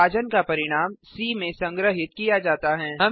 विभाजन का परिणाम सी में संग्रहीत किया जाता है